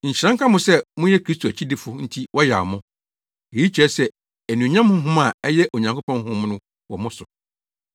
Nhyira nka mo sɛ moyɛ Kristo akyidifo nti wɔyaw mo. Eyi kyerɛ sɛ anuonyam honhom a ɛyɛ Onyankopɔn Honhom no wɔ mo so.